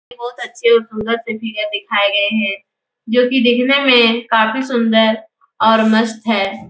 बोहोत अच्छे और सुंदर से फिगर दिखाए गए है। जो कि दिखने में काफी सुंदर और मस्त है।